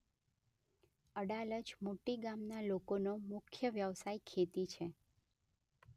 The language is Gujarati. અડાલજ મોટી ગામના લોકોનો મુખ્ય વ્યવસાય ખેતી છે.